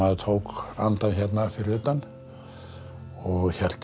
tók andann hérna fyrir utan og hélt